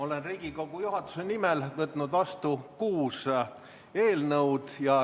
Olen Riigikogu juhatuse nimel võtnud vastu kuus eelnõu.